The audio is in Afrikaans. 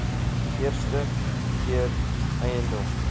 eerste keer eiendom